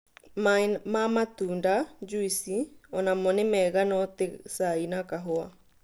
Maĩ ma matũnda( juici) onamo nĩ mega no ti cai kana kahũa